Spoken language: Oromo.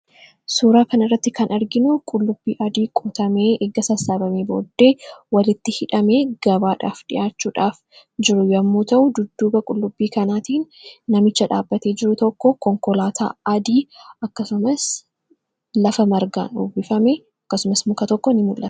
suuraa kan irratti kan arginu qullubbii adii quutamee eegga sassaabamii booddee walitti hidhame gabaadhaaf dhi'aachuudhaaf jiru yommuu ta'u dudduba qullubbii kanaatiin namicha dhaabbatee jiru tokko konkolaataa adii akkasumas lafa margaan ubbifame akkasumas muka tokko in mulae